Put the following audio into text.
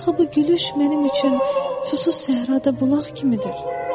Axı bu gülüş mənim üçün susuz səhrada bulaq kimidir.